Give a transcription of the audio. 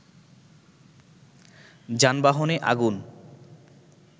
যানবাহনে আগুন